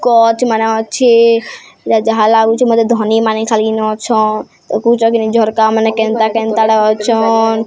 କଚ୍ ମାନେ ଅଛି ଯା ଯାହା ଲାଗୁଚି ମତେ ଧନୀମାନେ ଖାଲିନ୍ ଅଛ ଦେଖୁଛ କି ନାଇ ଝର୍କାମାନେ କେନ୍ତା କେନ୍ତା ଟା ଅଛନ୍।